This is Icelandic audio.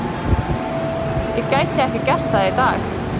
Ég gæti ekki gert það í dag.